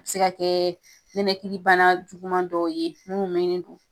A bi se ka kɛ nɛnɛkilibana juguman dɔ ye mun be